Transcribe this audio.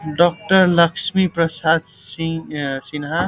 doctor Lakshmi Prasad Singh अ सिन्हा --